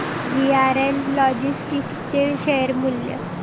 VRL logistics चे share मूल्य